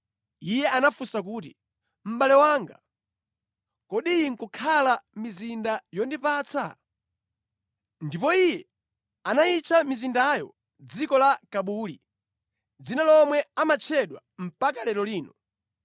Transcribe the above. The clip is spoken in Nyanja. Iye anafunsa kuti, “Mʼbale wanga, kodi iyi nʼkukhala mizinda yondipatsa?” Ndipo iye anayitcha mizindayo Dziko la Kabuli, dzina lomwe amatchedwa mpaka lero lino.